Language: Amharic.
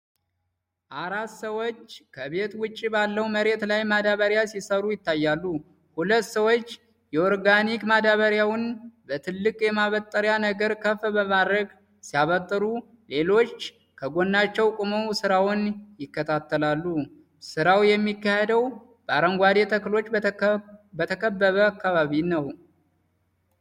አራት ሰዎች ከቤት ውጭ ባለው መሬት ላይ ማዳበሪያ ሲሠሩ ይታያሉ። ሁለት ሰዎች የኦርጋኒክ ማዳበሪያውን በትልቅ የማበጥሪያ ነገር ከፍ በማድረግ ሲያበጥሩ፣ ሌሎቹ ደግሞ ከጎናቸው ቆመው ሥራውን ይከታተላሉ። ሥራው የሚካሄደው በአረንጓዴ ተክሎች በተከበበ አካባቢ ነው።